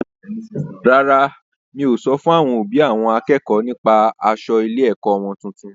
Rárá, mi o sọ fún àwọn òbí àwọn akẹ́kọ̀ọ́ nípa aṣọ ilé-ẹ̀kọ́ wọn tuntun.